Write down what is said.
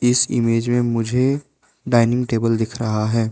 इस इमेज में मुझे डाइनिंग टेबल दिख रहा है।